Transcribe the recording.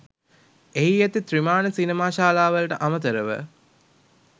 එහි ඇති ත්‍රිමාණ සිනමා ශාලාවලට අමතරව